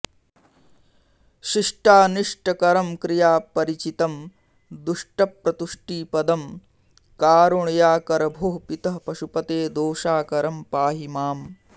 शिष्टानिष्टकरं क्रियापरिचितं दुष्टप्रतुष्टिपदं कारुण्याकर भोः पितः पशुपते दोषाकरं पाहि माम्